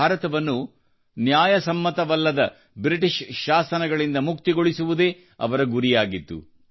ಭಾರತವನ್ನು ನ್ಯಾಯಸಮ್ಮತವಲ್ಲದ ಬ್ರಿಟಿಷ್ ಶಾಸನಗಳಿಂದ ಮುಕ್ತಗೊಳಿಸುವುದೇ ಅವರ ಗುರಿಯಾಗಿತ್ತು